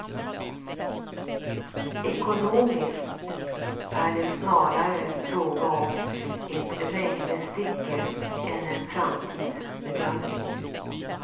Ekonomiskt är det snarare fråga om ett räknestycke än en framtidsbedömning.